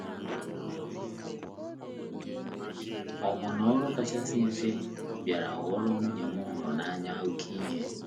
Ọbụna ọrụ kasị mfe bịara ghọọrọ nwunye m m hụrụ n’anya oké ihe.